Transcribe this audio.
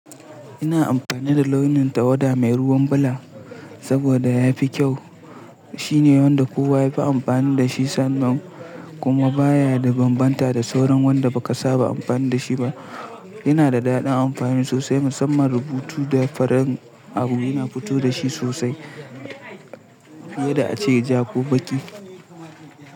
Ina amfani da launin tawada mai ruwan bula saboda ya fi kyau. Shine wanda kowa ya fi amfani da shi sannan kuma baya da bambanta da sauran wanda ba ka saba amfani da shi ba. Yana da daɗin amfani sosai musamman rubutu da farin abu yana fito da shi sosai fiye da ace ja ko baƙi.